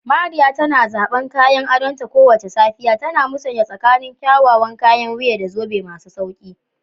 Mariya tana zaban kayan adonta kowace safiya, tana musanya tsakanin kyawawan kayan wuya da zobe masu sauƙi.